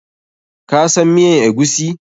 Ka san miyan eguisi?